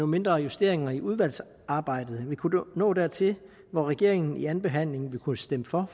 mindre justeringer i udvalgsarbejdet vil kunne nå dertil hvor regeringen ved andenbehandlingen vil kunne stemme for